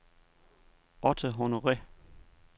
Otto Honore